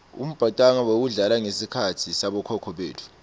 umbhacanga wawudlala ngesikhatsi sabokhokho betfu